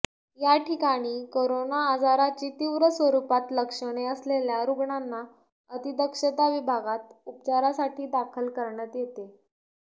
याठिकाणी कोरोना आजाराची तीव्र स्वरूपात लक्षणे असलेल्या रुग्णांना अतिदक्षता विभागात उपचारासाठी दाखल करण्यात येते